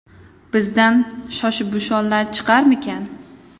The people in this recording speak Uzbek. Bizdan Shoshibushonlar chiqarmikan?